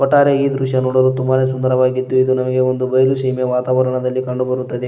ಒಟ್ಟಾರೆ ಈ ದೃಶ್ಯ ನೋಡಲು ತುಂಬಾನೇ ಸುಂದರವಾಗಿದ್ದು ಇದು ನಮಗೆ ಒಂದು ಬಯಲು ಸೀಮೆ ವಾತಾವರಣದಲ್ಲಿ ಕಂಡುಬರುತ್ತದೆ.